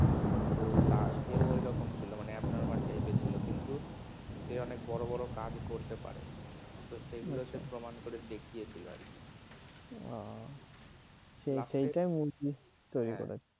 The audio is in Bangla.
তো তাকেও ওইরকম ছিল মানে abnormal টাইপের ছিল কিন্তু সে অনেক বড় বড় কাজ করতে পারে তো সেগুলো সে প্রমাণ করে দেখিয়েছিল আর কি। ও সেটাই movie তৈরি করেছে।